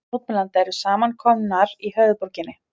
Þúsundir mótmælenda eru samankomnar í höfuðborginni